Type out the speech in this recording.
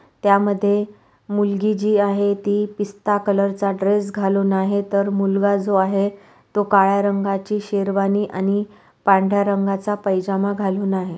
त्यामध्ये मुलगी जी आहे ती पिस्ता कलर चा ड्रेस घालून आहे तर मुलगा जो आहे तो काळ्या रंगाची शेरवानी आणि पांढऱ्या रंगाचा पैजामा घालुन आहे.